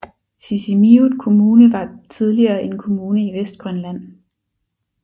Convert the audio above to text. Sisimiut Kommune var tidligere en kommune i Vestgrønland